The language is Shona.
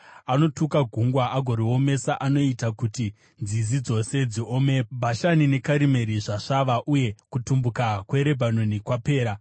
Anotuka gungwa agoriomesa; anoita kuti nzizi dzose dziome. Bhashani neKarimeri zvasvava uye kutumbuka kweRebhanoni kwapera.